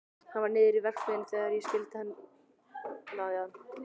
Hann var niðri við verksmiðju þegar ég skildi við hann.